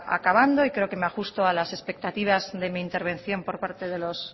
acabando y creo que me ajusto a las expectativas de mi intervención por parte de los